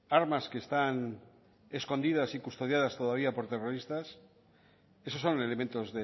armas que están escondidas y custodiadas todavía por terroristas esos son elementos